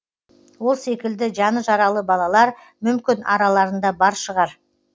ол секілді жаны жаралы балалар мүмкін араларында бар шығар